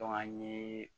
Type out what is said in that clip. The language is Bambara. an ye